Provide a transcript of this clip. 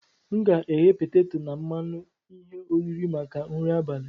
M ga-eghe peteto na mmanụ ihe oriri maka nri abalị.